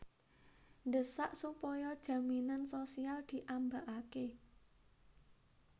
Ndhesak supaya jaminan sosial diambakake